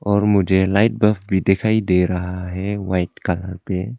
और मुझे light bulb दिखाई दे रहा है वाइट कलर पे।